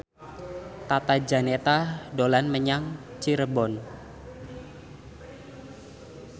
Tata Janeta dolan menyang Cirebon